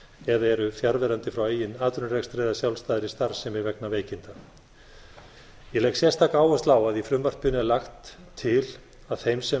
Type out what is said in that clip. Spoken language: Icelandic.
eða eru fjarverandi frá eigin atvinnurekstri eða sjálfstæðri starfsemi vegna veikinda ég legg sérstaka áherslu á að í frumvarpinu er lagt til að þeim sem